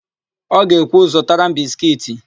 Ọ ga-ekwu, "zụtara m biskiiti"!